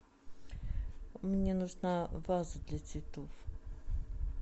мне нужна ваза для цветов